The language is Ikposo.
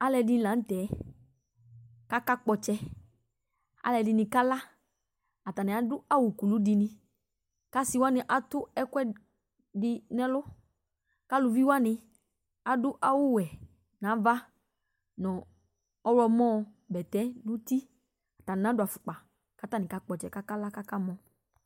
aloɛdi lantɛ k'aka kpɔ ɔtsɛ aloɛdini kala atani ado awu kulu di ni ko ase wani ato ɛkoɛdi no ɛlo ko aluvi wani ado awu wɛ n'ava no ɔwlɔmɔ bɛtɛ n'uti atani nadò afukpa k'atani kakpɔ ɔtsɛ k'akala k'aka mɔ